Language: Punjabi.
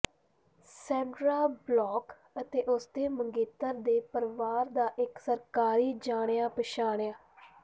ਸੈਂਡਰਾ ਬਲੌਕ ਅਤੇ ਉਸ ਦੇ ਮੰਗੇਤਰ ਦੇ ਪਰਿਵਾਰ ਦਾ ਇੱਕ ਸਰਕਾਰੀ ਜਾਣਿਆ ਪਛਾਣਿਆ